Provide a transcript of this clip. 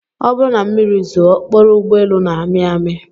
Ọ bụrụ na mmiri zoo, okporo ụgbọelu na-amị amị